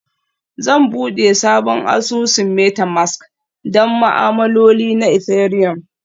Zan buɗe sabon asusun Metamask don ma'amaloli na Ethereum